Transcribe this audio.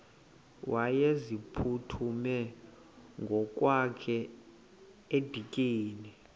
wayeziphuthume ngokwakhe edikeni